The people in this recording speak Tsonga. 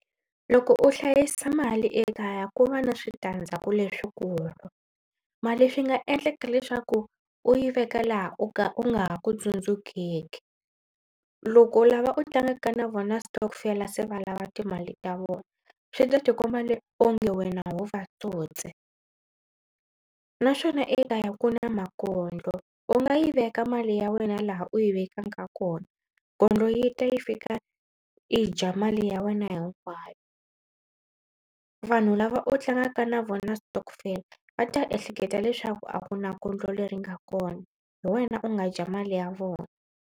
Loko u hlayisa mali ekaya ku va na switandzhaku leswikulu. Mali swi nga endlaka leswaku u yi veka laha u ka u nga ha ku tsundzukeki. Loko lava u tlangaka na vona stockvel se va lava timali ta vona swi ta ti komba onge wena ho va tsotsi naswona ekaya ku na makondlo u nga yi veka mali ya wena laha u yi vekaka kona kondlo yi ta yi fika yi dya mali ya wena hinkwayo. Vanhu lava u tlangaka na vona stockvel va ta ehleketa leswaku a ku na kondlo leri nga kona hi wena u nga dya mali ya vona.